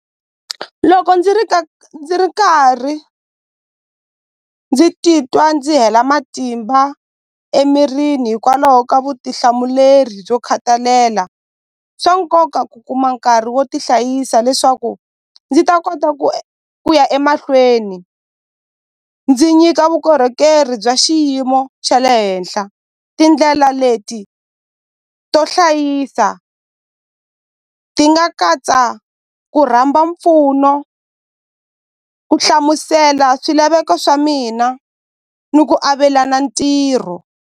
Loko ndzi ri ndzi ri karhi ndzi titwa ndzi hela matimba emirini hikwalaho ka vutihlamuleri byo khathalela swa nkoka ku kuma nkarhi wo tihlayisa leswaku ndzi ta kota ku ya emahlweni ndzi nyika vukorhokeri bya xiyimo xa le henhla tindlela leti to hlayisa ti nga katsa ku rhamba mpfuno ku hlamusela swilaveko swa mina ni ku avelana ntirho.